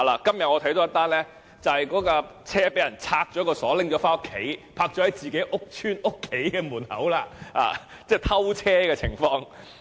今天我看到一宗新聞，就是單車被人拆鎖拿回家，泊在自己的家門外，即是有偷車的情況。